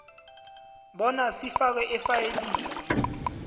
bona sifakwe efayilini